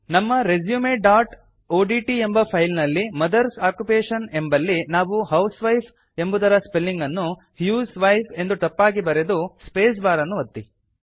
ನಮ್ಮ resumeಒಡಿಟಿ ಎಂಬ ಫೈಲ್ ನಲ್ಲಿ ಮದರ್ಸ್ ಆಕ್ಯುಪೇಷನ್ ಎಂಬಲ್ಲಿ ನಾವು ಹೌಸ್ವೈಫ್ ಎಂಬುದರ ಸ್ಪೆಲಿಂಗ್ ಅನ್ನು ಹ್ಯೂಸ್ವೈಫ್ ಎಂದು ತಪ್ಪಾಗಿ ಬರೆದು ಸ್ಪೇಸ್ ಬಾರ್ ಅನ್ನು ಒತ್ತಿ